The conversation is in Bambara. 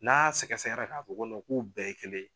N'a sɛgɛ sɛgɛra k'a fɔ ko k'u bɛɛ ye kelen ye